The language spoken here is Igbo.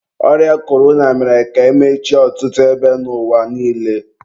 ọrịa korona mere ka emechie ọtụtụ ebe n'ụwa niile.